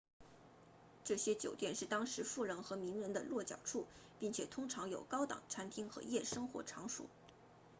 这些酒店是当时富人和名人的落脚处并且通常有高档餐厅和夜生活场所